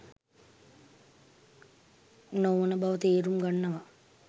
නොවන බව තේරුම් ගන්නවා.